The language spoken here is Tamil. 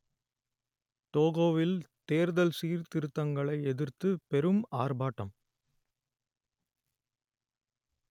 டோகோவில் தேர்தல் சீர்திருத்தங்களை எதிர்த்து பெரும் ஆர்ப்பாட்டம்